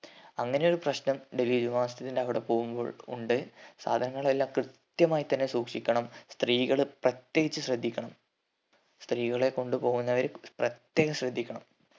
അങ്ങനെ ഒരു പ്രശ്നം ഡൽഹി ജുമാ മസ്ജിദിന്റെ അവിടെ പോവുമ്പോൾ ഉണ്ട് സാധനങ്ങൾ എല്ലാം കൃത്യമായി തന്നെ സൂക്ഷിക്കണം സ്ത്രീകള് പ്രത്യേകിച്ച് ശ്രദ്ധിക്കണം. സ്ത്രീകളെ കൊണ്ട് പോവുന്നവര് പ്രത്തേകം ശ്രദ്ധിക്കണം